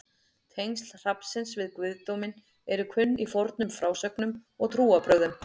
Tengsl hrafnsins við guðdóminn eru kunn í fornum frásögnum og trúarbrögðum.